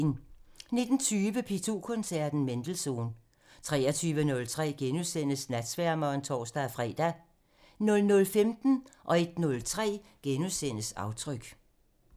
19:20: P2 Koncerten – Mendelssohn (Afs. 226) 23:03: Natsværmeren *(tor-fre) 00:15: Aftryk (Afs. 43)* 01:03: Aftryk (Afs. 43)*